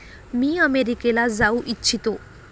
मी अमेरिकेला जाऊ इच्छितो.